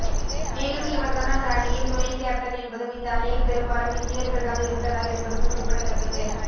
மேலும் இவர்தான் அந்த அணியின் துணை கேப்டன் என்பதும் இந்த அணியில் பெரும்பாலும் இந்தியர்கள் தான் இருந்தனர் என்பதும் குறிப்பிடத்தக்கது